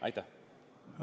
Aitäh!